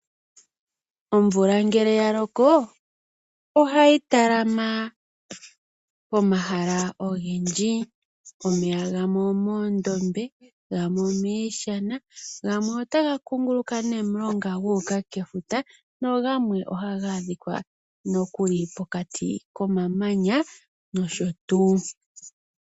Omvula ngele ya loko ohayi talama pomahala ogendji. Omeya gamwe omoondombe, gamwe omishana, gamwe otaga kunguluka nomulonga gu uka kefuta nogamwe ohaga adhika nokuli pokati komamanya noshotu.